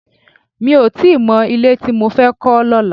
Mi ò tí ì mọ ilé tí mo fẹ́ kọ́ lọ́la